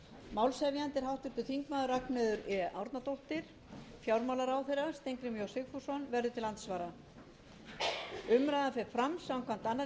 málshefjandi er háttvirtur þingmaður ragnheiður e árnadóttir fjármálaráðherra steingrímur j sigfússon verður til andsvara umræðan fer fram samkvæmt annarri